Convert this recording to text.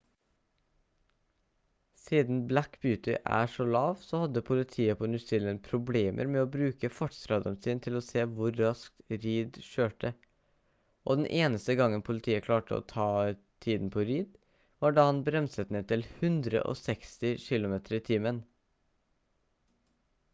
siden black beauty er så lav så hadde politiet på new zealand problemer med å bruke fartsradaren sin til å se hvor raskt reid kjørte og den eneste gangen politiet klarte å ta tiden på reid var da han bremset ned til 160 km/t